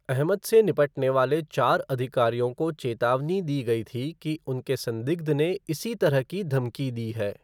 अहमद से निपटने वाले चार अधिकारियों को चेतावनी दी गई थी कि उनके संदिग्ध ने इसी तरह की धमकी दी है।